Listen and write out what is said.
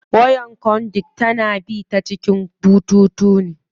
Wayar conduit tana bi ta cikin bututu ne.